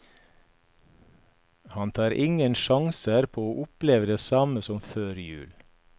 Han tar ingen sjanser på å oppleve det samme som før jul.